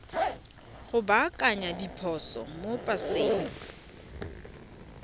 go baakanya diphoso mo paseng